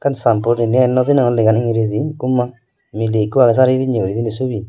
san port inni eyan nw sinogol lean enggireji ikko ma miley ikko agey sari pinne guri sinni subi.